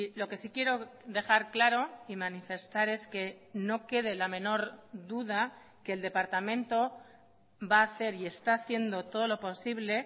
lo que sí quiero dejar claro y manifestar es que no quede la menor duda que el departamento va a hacer y está haciendo todo lo posible